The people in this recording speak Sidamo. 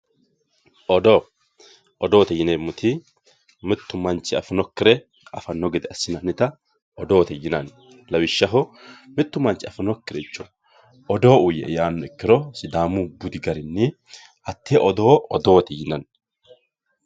odoo. odoote yineemmoti mittu manchi afinokkire afanno gede assinannita odoote yinanni lawishshaho mittu manchi afinokkiricho odoo uuyye"e yaanno ikkiro sidaamu budi garinni hattee odoo odoote yinanni.